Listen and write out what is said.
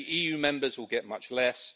Many EU Members will get much less.